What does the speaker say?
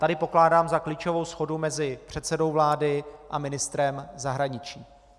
Tady pokládám za klíčovou shodu mezi předsedou vlády a ministrem zahraničí.